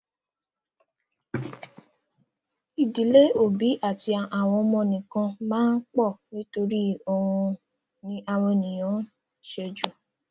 Ì̀dílé òbí àti àwọn ọmọ nìkan máa pọ̀ nítorí òun ni àwọn ènìyàn ń ṣe jù.